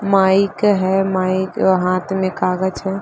Mic है mic हाथ में कागज है।